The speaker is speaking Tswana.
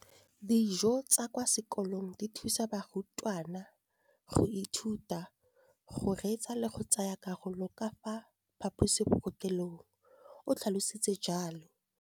Dijo tsa kwa sekolong dithusa barutwana go ithuta, go reetsa le go tsaya karolo ka fa phaposiborutelong, o tlhalositse jalo.